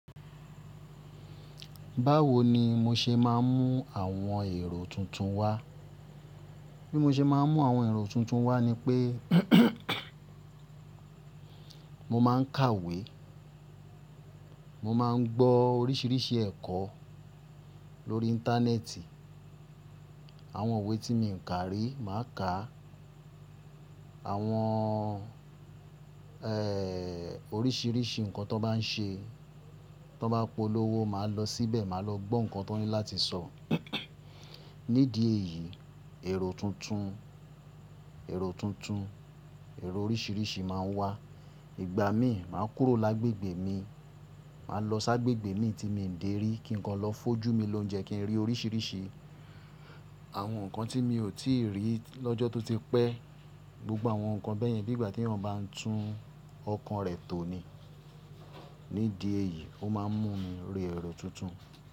Báwo ni mo ṣe máa ń mú àwọn èrò tuntun wá? Bí mo ṣe máa ń mú àwọn èrò tuntun wá ni pé mo máa ń kàwé, mo máa ń gbọ́ oríṣiríṣi ẹ̀kọ́ lórí Íńtánẹ́ẹ̀tì. Àwọn iwe tí mi ò kà rí, màá kàá. Àwọn, oríṣiríṣi nǹkan tón bá n ṣe, tón bá polówó, màá lọ síbẹ̀, màá lọ gbọ́ nǹkan tón ní láti sọ. Nídìí èyí, èrò tuntun, èrò tuntun, èrò oríṣiríṣi máa ń wá. Ìgbà míì, màá kúrò lágbègbè mi, màá lọ ságbègbè mii tí mi ò dé rí kí nǹkan lọ fójú mi lóúnjẹ kí n rí oríṣiríṣi àwọn nǹkan tí mi ò tíì rí lọ́jọ́ tó ti pẹ́. Gbogbo àwọn nǹkan bẹ́yẹn, bi ígbà teeyan bá ń tún ọkàn rẹ̀ tò ni. Nídìí èyí, ó máa ń mú mi rí èrò tuntun.